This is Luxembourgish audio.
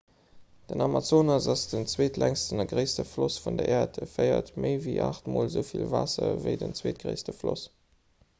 den amazonas ass den zweetlängsten a gréisste floss vun der äerd e féiert méi ewéi 8 mol esou vill waasser ewéi den zweetgréisste floss